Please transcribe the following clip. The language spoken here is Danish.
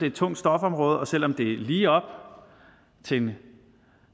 et tungt stofområde og selv om det er lige op til en